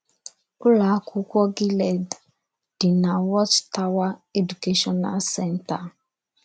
Ụ́lọ̀ ákwụ́kwọ̀ Gilead dì na Watchtower Educational Center.